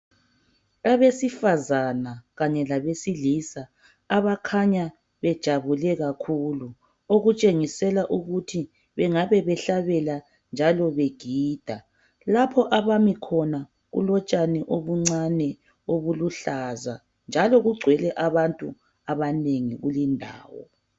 Abesifazana kanye labesilisa abakhanya bejabule kakhulu okutshengisela ukuthi bengabe behlabela njalo begida lapho abami khona kulotshani obuncane obuluhlaza njalo kugcwele abantu abanengi kulindawo